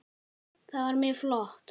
Það var mjög flott.